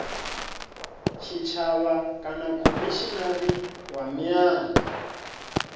tshitshavha kana khomishinari wa miano